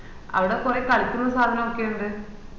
അവിടെ കൊറേ കളിക്കുന്ന സദാനൊക്കെ ഇൻഡ്